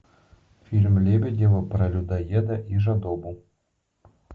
фильм лебедева про людоеда и жадобу